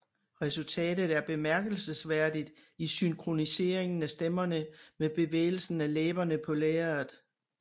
Resultatet er bemærkelsesværdigt i synkroniseringen af stemmerne med bevægelsen af læberne på lærredet